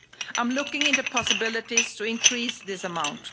I'm looking into possibilities to increase this amount.